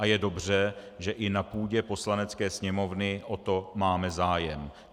A je dobře, že i na půdě Poslanecké sněmovny o to máme zájem.